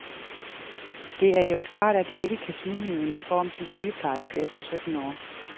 Det er jo klart, at jeg ikke kan smide min uniform som sygeplejerske efter sytten år.